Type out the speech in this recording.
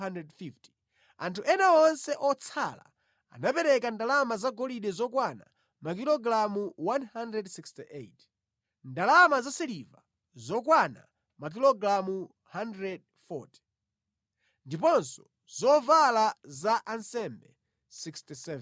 Anthu ena onse otsala anapereka ndalama zagolide zokwana makilogalamu 168, ndalama za siliva zokwana makilogalamu 140, ndiponso zovala za ansembe 67.